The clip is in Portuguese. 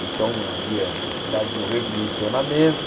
Então havia necessidade de um redirecionamento.